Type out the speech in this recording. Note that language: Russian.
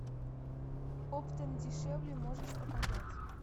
оптом дешевле можешь показать